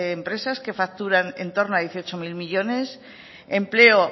empresas que facturan en torno a dieciocho mil millónes empleo